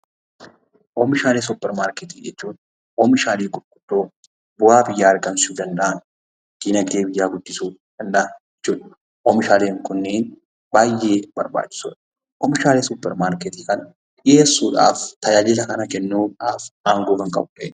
Oomishaalee supermarketii jechuun oomishaalee gurgurdoo bu'aa buyyaa argamsiisuu danda'an; diinagdee biyyaa guddisuu danda'an jechuu dha. Isaannis baayyee barbaachisoo dha. Oomishaalee kana dhiyeessuudhaaf aangoo kan qabu eenyu?